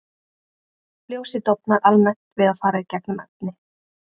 Ljósið dofnar almennt við að fara í gegnum efni.